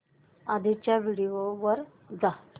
आधीच्या व्हिडिओ वर जा